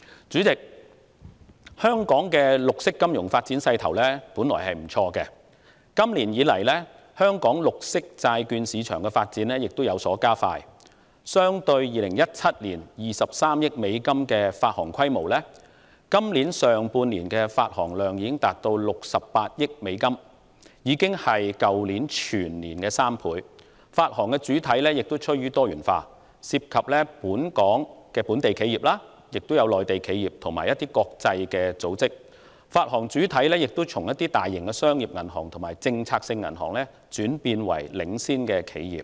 主席，香港的綠色金融發展勢頭本來不錯，今年以來，本地綠色債券市場的發展步伐亦已加快，相對於2017年的23億美元發行規模，今年上半年度的發行量總值已達68億美元，是去年全年的3倍，發行主體亦趨於多元化，包括本地企業、內地企業和國際組織，發行主體亦由大型商業銀行和政策性銀行轉變為領先企業。